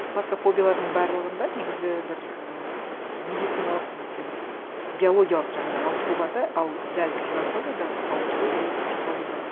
басқа фобиялардың барлығында негізі бір і медициналық немесе бір биологиялық жаңағындай ауытқу бар да ал дәл ксенофобияда ауытқу ол психологиялық